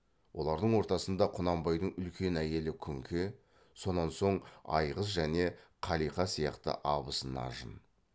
олардың ортасында құнанбайдың үлкен әйелі күнке сонан соң айғыз және қалиқа сияқты абысын ажын